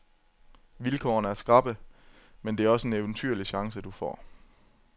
Vilkårene er skrappe, men det er også en eventyrlig chance, du får.